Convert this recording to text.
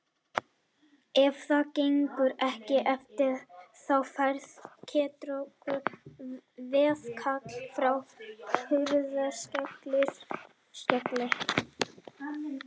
Ef það gengur ekki eftir þá fær Ketkrókur veðkall frá Hurðaskelli.